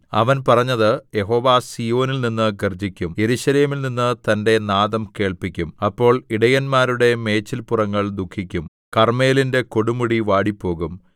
അവൻ പറഞ്ഞത് യഹോവ സീയോനിൽനിന്ന് ഗർജ്ജിക്കും യെരൂശലേമിൽനിന്ന് തന്റെ നാദം കേൾപ്പിക്കും അപ്പോൾ ഇടയന്മാരുടെ മേച്ചല്പുറങ്ങൾ ദുഃഖിക്കും കർമ്മേലിന്റെ കൊടുമുടി വാടിപ്പോകും